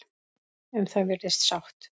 Um það virðist sátt.